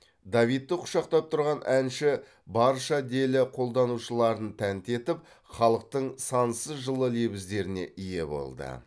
давидты құшақтап тұрған әнші барша делі қолданушыларын тәнті етіп халықтың сансыз жылы лебіздеріне ие болды